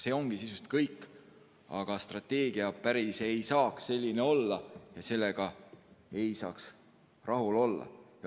See ongi sisuliselt kõik, aga strateegia ei saa päris selline olla ja sellega ei saa rahule jääda.